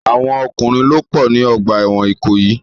Àwọn ọkùnrin ló pọ̀ ní ọgbà ẹ̀wọ̀n Ìkòyì.